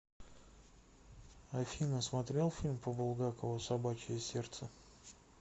афина смотрел фильм по булгакову собачье сердце